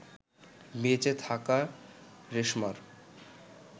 বেঁচে থাকা রেশমার